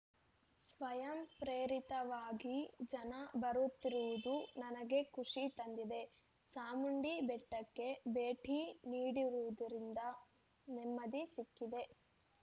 ಸ್ವಯಂಪ್ರೇರಿತವಾಗಿ ಜನ ಬರುತ್ತಿರುವುದು ನನಗೆ ಖುಷಿ ತಂದಿದೆ ಚಾಮುಂಡಿ ಬೆಟ್ಟಕ್ಕೆ ಭೇಟಿ ನೀಡಿರುವುದರಿಂದ ನೆಮ್ಮದಿ ಸಿಕ್ಕಿದೆ